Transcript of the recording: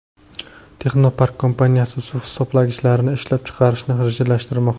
Texnopark kompaniyasi suv hisoblagichlarini ishlab chiqarishni rejalashtirmoqda.